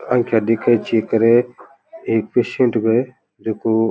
आँखा दिखे चेक करे एक पेशेंट है जको --